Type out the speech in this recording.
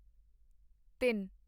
ਤਿੱਨ